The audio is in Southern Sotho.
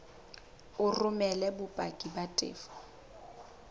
o romele bopaki ba tefo